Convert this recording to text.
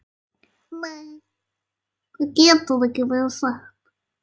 Nei, það getur ekki verið satt.